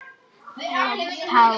Blessuð sé minning Auðar.